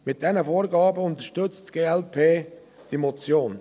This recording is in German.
Mit diesen Vorgaben unterstützt die glp diese Motion.